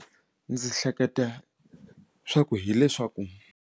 Ndzi hleketa swa ku hileswaku.